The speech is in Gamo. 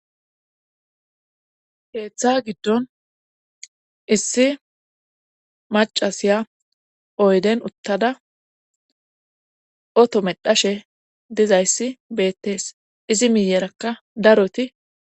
Heeththa giddon issi macasiya oyden uttada oto medhashe dizayssi beettees izi miyerakka daroti